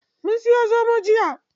Mun siya zomo jiya.